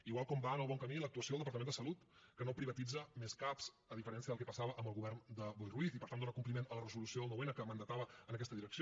igual com va en el bon camí l’actuació del departament de salut que no privatitza més cap a diferència del que passava amb el govern de boi ruiz i per tant dóna compliment a la resolució del nou n que mandatava en aquesta direcció